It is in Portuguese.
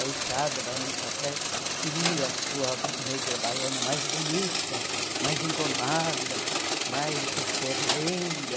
Aí cada barão do café queria a sua negra baiana mais bonita, mais engomada, mais cheia de renda.